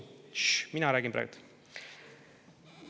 Tššš, mina räägin praegu!